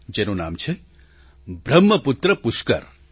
જેનું નામ છે બ્રહ્મપુત્ર પુષ્કર